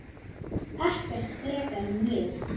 Ekkert frekar en ég.